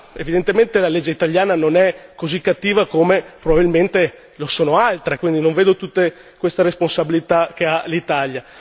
Evidentemente la legge italiana non è così cattiva come probabilmente lo sono altre, quindi non vedo tutta questa responsabilità che ha l'Italia.